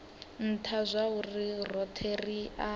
ntha zwauri rothe ri a